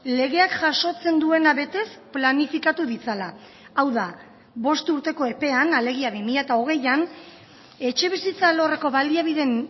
legeak jasotzen duena betez planifikatu ditzala hau da bost urteko epean alegia bi mila hogeian etxebizitza alorreko baliabideen